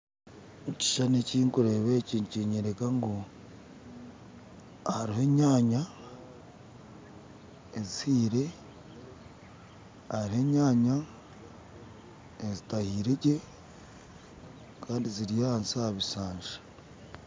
Ekishushani ekinkureba eki nikyinyoreka ngu hariho enyaanya ezihiire hariho enyaanya ezitahiiregye Kandi ziri ahansi aha bishasha.